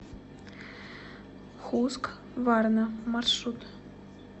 хускварна маршрут